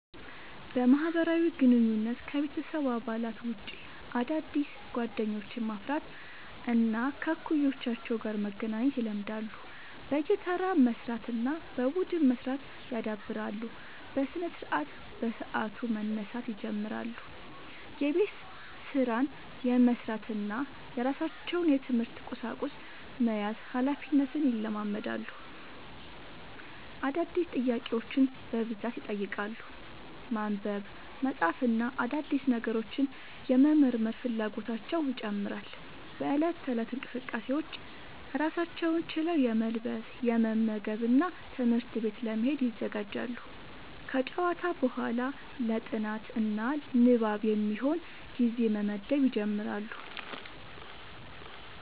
በማህበራዊ ግንኙነት: ከቤተሰብ አባላት ውጭ አዳዲስ ጓደኞችን ማፍራት እና ከእኩዮቻቸው ጋር መገናኘት ይለምዳሉ። በየተራ መስራት እና በቡድን መስራት ያዳብራሉ። በስነስርዓት : በሰዓቱ መነሳት ይጀምራሉ። የቤት ስራን የመስራት እና የራሳቸውን የትምህርት ቁሳቁስ መያዝ ሀላፊነትን ይለማመዳሉ። አዳዲስ ጥያቄዎችን በብዛት ይጠይቃሉ። ማንበብ፣ መጻፍ እና አዳዲስ ነገሮችን የመመርመር ፍላጎታቸው ይጨምራል።. በእለት ተእለት እንቅስቃሴዎች: ራሳቸውን ችለው የመልበስ፣ የመመገብ እና ትምህርት ቤት ለመሄድ ይዘጋጃሉ። ከጨዋታ በኋላ ለ ጥናት እና ንባብ የሚሆን ጊዜ መመደብ ይጀምራሉ።